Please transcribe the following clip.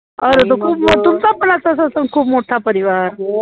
अरे तर खूप मो तुमचा पण असाच असेल खूप मोठा परिवार